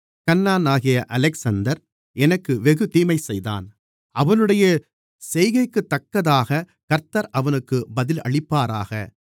கன்னானாகிய Alexander எனக்கு வெகு தீமைசெய்தான் அவனுடைய செய்கைக்குத்தக்கதாகக் கர்த்தர் அவனுக்குப் பதிலளிப்பாராக